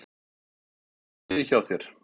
Er allt í lagi hjá þér?